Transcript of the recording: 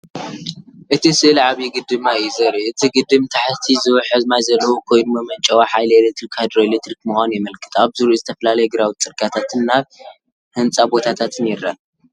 እቲ ስእሊ ዓብዪ ግድብ ማይ እዩ ዘርኢ። እቲ ግድብ ንታሕቲ ዝውሕዝ ማይ ዘለዎ ኮይኑ፡ መመንጨዊ ሓይሊ ኤሌክትሪክ ሃይድሮኤሌክትሪክ ምዃኑ የመልክት። ኣብ ዙርያኡ ዝተፈላለየ ግራውቲ፡ ጽርግያታትን ናይ ህንጻ ቦታታትን ይረአ።